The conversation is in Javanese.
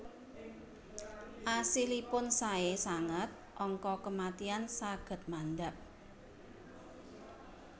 Asilipun sae sanget angka kematian saged mandhap